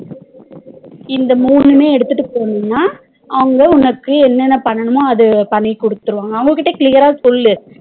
இந்த மூணுமே எடுத்துட்டு போனும்னா அவங்க உனக்கு என்னன்ன பண்ணனும்மோ அத பண்ணி குடுத்துருவாங்க அவங்க கிட்ட clear அஹ் சொல்லு